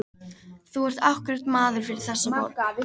Þú ert akkúrat maður fyrir þessa borg.